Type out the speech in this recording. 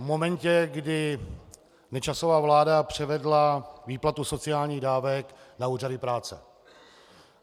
V momentě, kdy Nečasova vláda převedla výplatu sociálních dávek na úřady práce.